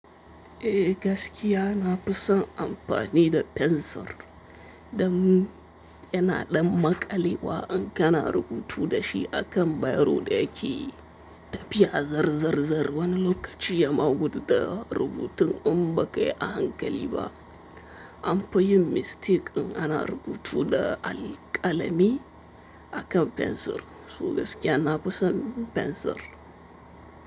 Eh gaskiya na fi son amfani da fensir, dan yana ɗan maƙali wa in kana rubutu da shi a kan bairo da yake tafiya zarzarzar wani lokaci ya ma guɗu. Da rubutun in ba kai a hankali ba. An fa yi mistake in ana rubutu da alƙalami akan fensir, su gaskiya na fi son fensir.